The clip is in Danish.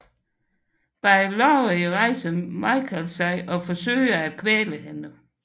Bag Laurie rejser Michael sig og forsøger at kvæle hende